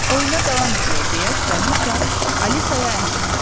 Oyuna davam eləyək deyə Kraliçea Alisaya əmr etdi.